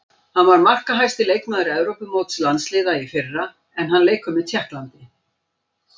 Hann var markahæsti leikmaður Evrópumóts landsliða í fyrra en hann leikur með Tékklandi.